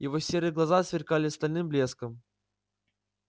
его серые глаза сверкали стальным блеском